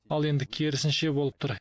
ал енді керісінше болып тұр